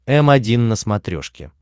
м один на смотрешке